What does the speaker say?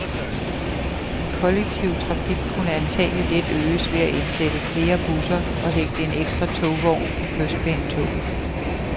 Den kollektive trafik kunne antagelig let øges ved at indsætte flere busser og hægte en ekstra togvogn på kystbanetoget.